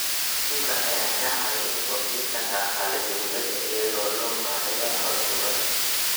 Kalluunka ayaa ka caawiya kordhinta dakhliga dowladda iyada oo loo marayo canshuuraha.